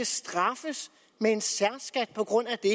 straffes med en særskat på grund af det